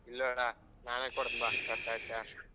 ಇಲ್ಲಾ ಅಣ್ಣ ನಾನೇ ಕೊಡ್ತೀನಿ ಬಾ ಖರ್ಚ್ ಹಾಕಿ